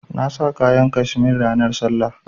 Na sa kayan cashmere ranan sallah.